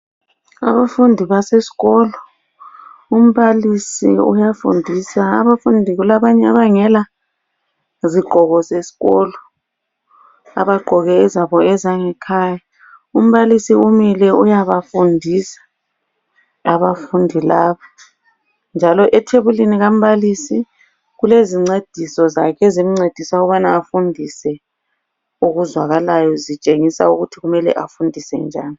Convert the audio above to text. Abafundi basesikolo umbalisi uyafundisa abafundi kulabanye abangela zigqoko zesikolo, abagqoke ezabo ezangekhaya, umbalisi umile uyabafundisa abafundi laba, njalo ethebulini kambalisi kulezincediso zakhe ezimncedisa ukubana afundise okuzwakalayo, zitshengisa ukuthi kumele afundise njani.